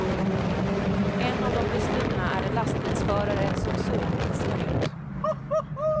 En av de bestulna är en lastbilsförare som sov i sin hytt.